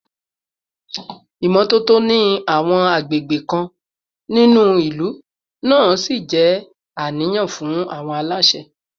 Ìmọ́tótó ní àwọn àgbègbè kan nínú ìlú náà ṣì jẹ́ àníyàn fún àwọn aláṣẹ